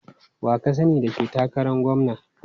Wa ka sani da ke takaran gwamna?